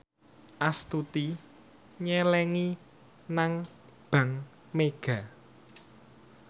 Astuti nyelengi nang bank mega